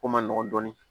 Ko man nɔgɔn dɔɔnin